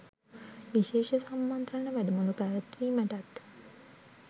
විශේෂ සම්මන්ත්‍රණ වැඩමුළු පැවැත්වීමටත්